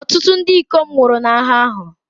Ọtụtụ ndị ikom nwụrụ n'agha ahụ.